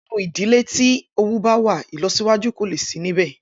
Inú ìdílé tí owú báwà ìlọsíwájú kòle sí níbẹ̀.